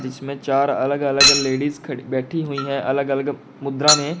जिसमें चार अलग अलग लेडिस खड़ी बैठी हुई हैं अलग अलग मुद्रा में।